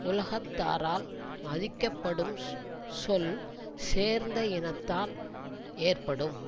உலகத்தாரால் மதிக்கப்படும் சொல் சேர்ந்த இனத்தால் ஏற்படும்